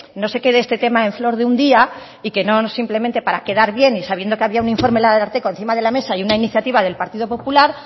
no se quede este tema en flor de un día y no simplemente para quedar bien y sabiendo que había un informe del ararteko encima de la mesa y una iniciativa del partido popular